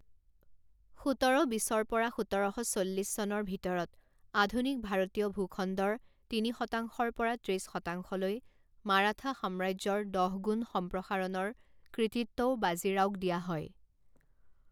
সোতৰ বিছৰ পৰা সোতৰ শ চল্লিছ চনৰ ভিতৰত আধুনিক ভাৰতীয় ভূ খণ্ডৰ তিনি শতাংশৰ পৰা ত্ৰিছ শতাংশলৈ মাৰাঠা সাম্ৰাজ্যৰ দহগুণ সম্প্ৰসাৰণৰ কৃতিত্বও বাজিৰাওক দিয়া হয়।